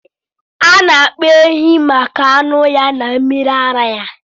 Ana akpa ehi maka anụ ya na mmiri ara ya.